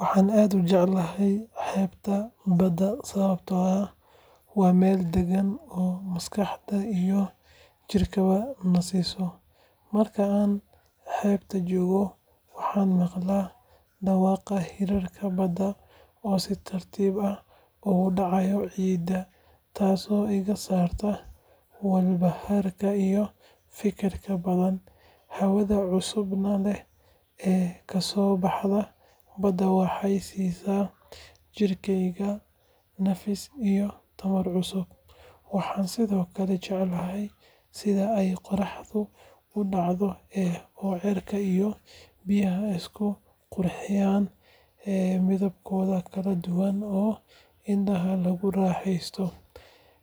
Waxaan aad u jecelahay xeebta badda sababtoo ah waa meel deggan oo maskaxda iyo jidhkaba nasiso. Marka aan xeebta joogo, waxaan maqlaa dhawaaqa hirarka badda oo si tartiib ah ugu dhacaya ciidda, taasoo iga saarta walbahaarka iyo fikirka badan. Hawada cusbada leh ee kasoo baxaysa badda waxay siisaa jidhkayga nafis iyo tamar cusub. Waxaan sidoo kale jeclahay sida ay qorraxdu u dhacdo oo cirka iyo biyaha isku qurxiyaan midabyo kala duwan oo indhaha lagu raaxaysto.